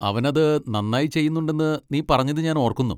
അവൻ അത് നന്നായി ചെയ്യുന്നുണ്ടെന്ന് നീ പറഞ്ഞത് ഞാൻ ഓർക്കുന്നു.